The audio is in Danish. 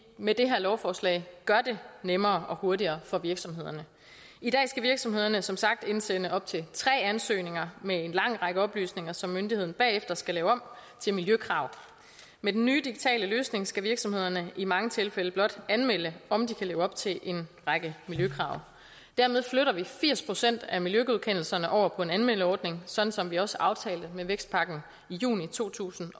med det her lovforslag gør det nemmere og hurtigere for virksomhederne i dag skal virksomhederne som sagt indsende op til tre ansøgninger med en lang række oplysninger som myndigheden bagefter skal lave om til miljøkrav med den nye digitale løsning skal virksomhederne i mange tilfælde blot anmelde om de kan leve op til en række miljøkrav dermed flytter vi firs procent af miljøgodkendelserne over på en anmeldeordning sådan som vi også aftalte med vækstpakken i juni to tusind